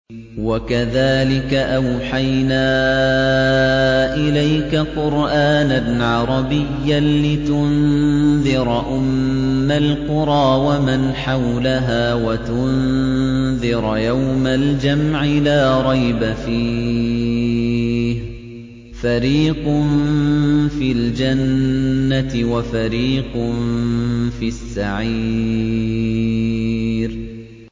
وَكَذَٰلِكَ أَوْحَيْنَا إِلَيْكَ قُرْآنًا عَرَبِيًّا لِّتُنذِرَ أُمَّ الْقُرَىٰ وَمَنْ حَوْلَهَا وَتُنذِرَ يَوْمَ الْجَمْعِ لَا رَيْبَ فِيهِ ۚ فَرِيقٌ فِي الْجَنَّةِ وَفَرِيقٌ فِي السَّعِيرِ